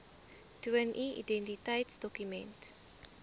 toon u identiteitsdokument